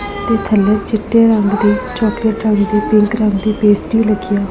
ਤੇ ਥੱਲੇ ਚਿੱਟੇ ਰੰਗ ਦੀ ਚੌਕਲੇਟ ਰੰਗ ਦੀ ਪਿੰਕ ਰੰਗ ਦੀ ਪੇਸਟੀ ਲੱਗੀ ਹੈ।